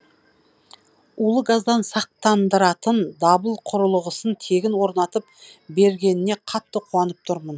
улы газдан сақтандыратын дабыл құрылғысын тегін орнатып бергеніне қатты қуанып тұрмын